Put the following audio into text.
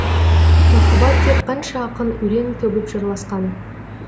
махаббат деп қанша ақын өлең төгіп жырласқан